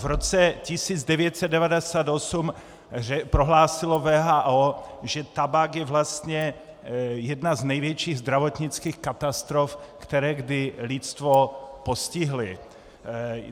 V roce 1998 prohlásila WHO, že tabák je vlastně jedna z největších zdravotnických katastrof, které kdy lidstvo postihly.